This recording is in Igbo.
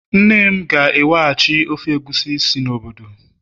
nne m ga-eweghachi ofe egusi si n'obodo